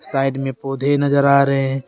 Side में पौधे नजर आ रहे हैं।